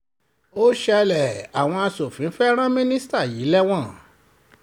ó ṣẹlẹ̀ àwọn aṣòfin fẹ́ẹ́ ran mínísítà yìí lẹ́wọ̀n